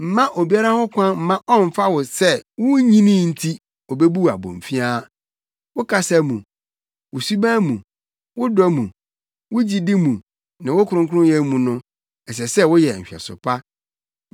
Mma obiara ho kwan mma ɔmmfa wo sɛ wunnyinii nti obebu wo abomfiaa. Wo kasa mu, wo suban mu, wo dɔ mu, wo gyidi mu ne wo kronkronyɛ mu no, ɛsɛ sɛ woyɛ nhwɛso pa.